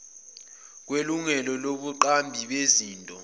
kwelungelo lobuqambi bezinto